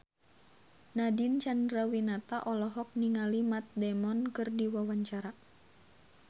Nadine Chandrawinata olohok ningali Matt Damon keur diwawancara